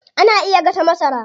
Ana iya gasa masara.